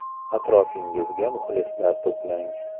Atrofingizga muxlislar to‘plang .